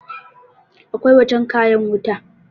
akwai wajen kayan wuta